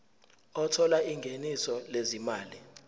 othola ingeniso lezimali